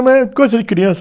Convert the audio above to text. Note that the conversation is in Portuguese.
Mas é coisa de criança.